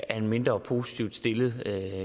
er mindre positivt stillet